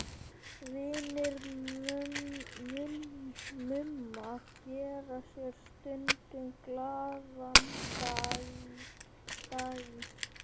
Vinir Mumma gera sér stundum glaðan dag í